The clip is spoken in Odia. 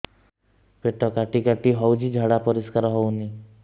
ପେଟ କାଟି କାଟି ହଉଚି ଝାଡା ପରିସ୍କାର ହଉନି